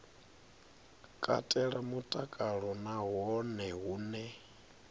katela mutakalo na hone hune